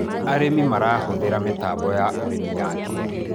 arĩmi marahuthira mitambo ya ũrĩmi ya kĩiriu